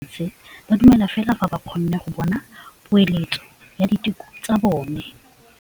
Borra saense ba dumela fela fa ba kgonne go bona poeletsô ya diteko tsa bone.